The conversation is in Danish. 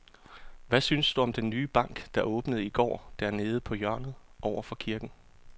Hvad synes du om den nye bank, der åbnede i går dernede på hjørnet over for kirken?